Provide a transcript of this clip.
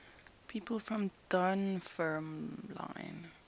people from dunfermline